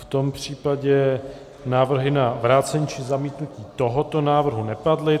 V tom případě návrhy na vrácení či zamítnutí tohoto návrhu nepadly.